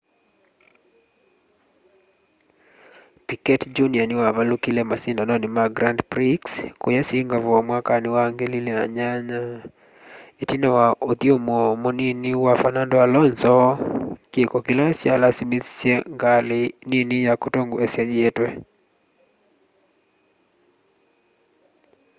piquet jr niwavalukile masindanoni ma grand prix kuuya singapore mwakani wa 2008 itina wa uthyumuo munini wa fernando alonso kiko kila kyalasimithisye ngali nini ya kutongoesya yietwe